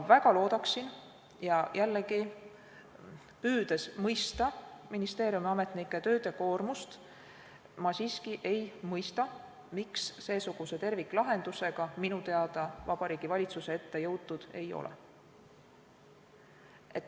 Aga, ja jällegi püüdes mõista ministeeriumiametnike töökoormust, ma siiski ei mõista, miks seesuguse terviklahendusega minu teada Vabariigi Valitsuse ette jõutud ei ole.